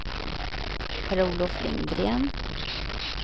Per-Olof Lindgren